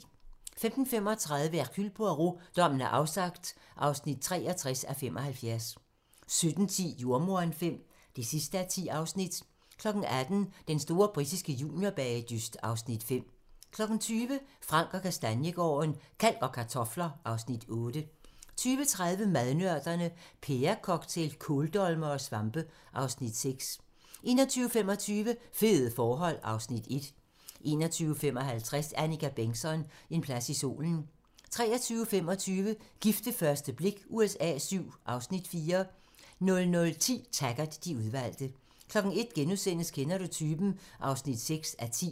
15:35: Hercule Poirot: Dommen er afsagt (63:75) 17:10: Jordemoderen V (10:10) 18:00: Den store britiske juniorbagedyst (Afs. 5) 20:00: Frank & Kastaniegaarden - Kalk og kartofler (Afs. 8) 20:30: Madnørderne - Pærecocktail, kåldolmere og svampe (Afs. 6) 21:25: Fede forhold (Afs. 1) 21:55: Annika Bengtzon: En plads i solen 23:25: Gift ved første blik USA VII (Afs. 4) 00:10: Taggart: De udvalgte 01:00: Kender du typen? (6:10)*